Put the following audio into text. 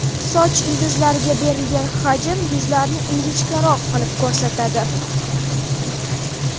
Soch ildizlariga berilgan hajm yuzlarni ingichkaroq qilib ko‘rsatadi.